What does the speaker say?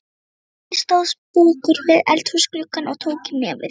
Afi stóð sposkur við eldhúsgluggann og tók í nefið.